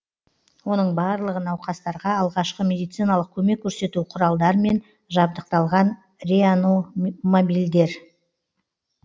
оның барлығы науқастарға алғашқы медициналық көмек көрсету құралдармен жабдықталған реано мобильдер